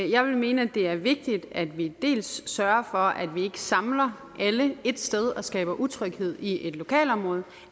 jeg vil mene at det er vigtigt at vi dels sørger for at vi ikke samler alle et sted og skaber utryghed i et lokalområde